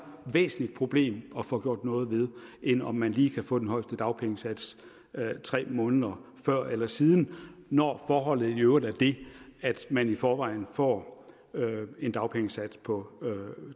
væsentligt problem at få gjort noget ved end om man lige kan få den højeste dagpengesats tre måneder før eller siden når forholdet i øvrigt er det at man i forvejen får en dagpengesats på